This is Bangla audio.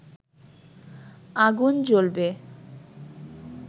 আগুন জ্বলবে